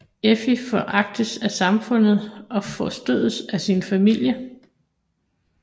Effi foragtes af samfundet og forstødes af sin familie